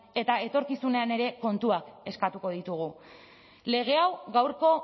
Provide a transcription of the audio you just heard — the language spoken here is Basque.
eta etorkizunean ere kontuak eskatuko ditugu lege hau gaurko